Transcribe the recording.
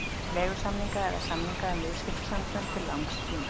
leigusamninga eða samninga um viðskiptasambönd til langs tíma.